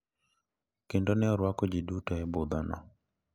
Kendo ne orwako ji duto e budhono.